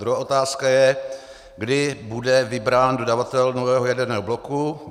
Druhá otázka je, kdy bude vybrán dodavatel nového jaderného bloku.